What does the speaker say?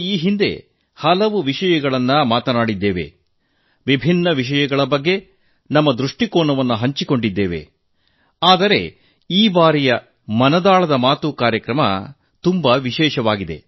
ಈ ಹಿಂದೆ ನಾವು ಹಲವು ವಿಷಯಗಳ ಬಗ್ಗೆ ಮಾತನಾಡಿದ್ದೇವೆ ನಾನಾ ವಿಷಯಗಳ ಬಗ್ಗೆ ನಮ್ಮ ದೃಷ್ಟಿಕೋನವನ್ನು ಹಂಚಿಕೊಂಡಿದ್ದೇವೆ ಆದರೆ ಈ ಬಾರಿಯ ಮನ್ ಕಿ ಬಾತ್ ಕಾರ್ಯಕ್ರಮ ತುಂಬಾ ವಿಶೇಷವಾಗಿದೆ